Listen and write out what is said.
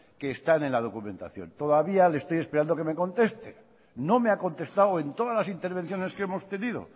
que están en la documentación todavía estoy esperando a que me conteste no me ha contestado en todas las intervenciones que hemos tenido